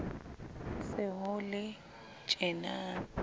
ho se ho le tjena